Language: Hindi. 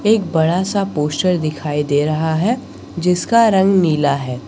एक बड़ा सा पोस्टर दिखाई दे रहा है जिसका रंग नीला है।